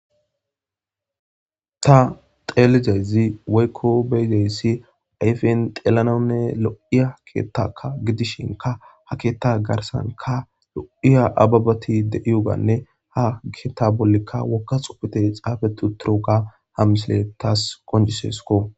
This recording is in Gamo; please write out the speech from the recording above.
Tha xeellida izi woykko be7ida izi ayfen xeellanawunne lo7iya keeththaakka gidishinkka ha keeththaa garssankka lo7iya ababthi de7iyoogaanne haa keeththaa bollikka wogga tsuufethi tsaafeththi uththiroogaa ha mislee thaas qonccisseskoo.